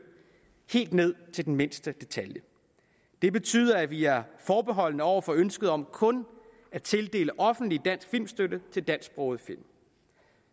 helt ned til den mindste detalje det betyder at vi er forbeholdne over for ønsket om kun at tildele offentlig dansk filmstøtte til dansksprogede film